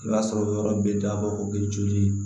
I b'a sɔrɔ yɔrɔ bɛ dabɔ o bɛ joli